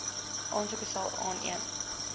aansoeke sal aan